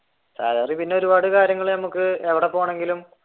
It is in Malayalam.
salary പിന്നെ ഒരുപാട് കാര്യങ്ങൾ നമുക്ക് എവിടെ പോകുകയാണെങ്കിലും